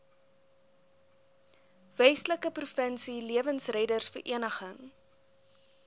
westelike provinsie lewensreddersvereniging